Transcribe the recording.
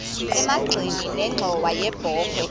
emagxeni nenxhowa yebokhwe